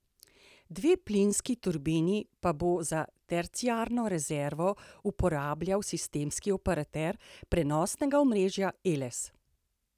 Dve plinski turbini pa bo za terciarno rezervo uporabljal sistemski operater prenosnega omrežja Eles.